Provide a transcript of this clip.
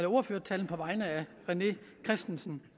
ordførertalen på vegne af herre rené christensen